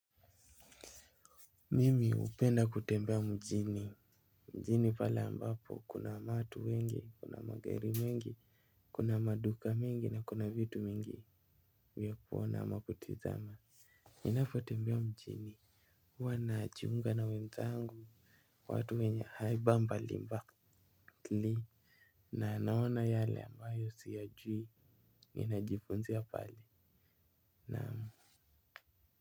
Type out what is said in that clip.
Mimi hupenda kutembea mjini. Mjini pale ambapo kuna watu wengi, kuna magari mengi. Kuna maduka mingi na kuna vitu mingi. Mi huona ama kutizama. Ninapotembea mjini huwa najiunga na wenzangu, watu wenye haiba mbalimbali na naona yale ambayo siyajui. Ninajifunzia pale. Naam.